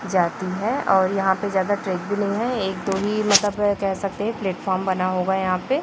जाती है और यहाँ पे ज्यादा ट्रैक भी नहीं है एक दो ही मतलब कह सकते है प्लेटफार्म बना होगा यहाँ पे --